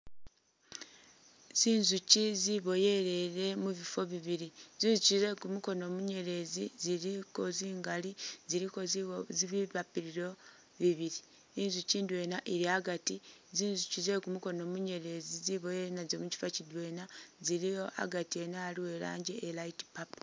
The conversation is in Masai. Zinzukyi zibwoyelele mubifo bibili, zinzukyi zekumukono munyelezi ziliko zingali ziliko bi papiro bibili inzukyi ndwena ili agati, zinzukyi zekumukono munyelezi zibowelele nazo mukyifo kyidwena zi liwo agati ene aliwo i rangi iya light purple.